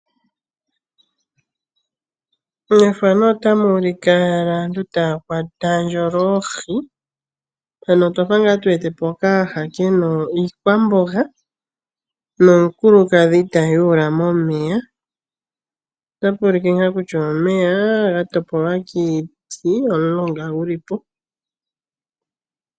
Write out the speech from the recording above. Mefano otamu monika aantu taya ndjoolola oohi mpano otwafa ngaa tu wetepo okayaha kena iikwamboga nomukulukadhi ta ndjuula momeya otapulike ngaa kutya omeya ga topolwa kiiti omulonga gulipo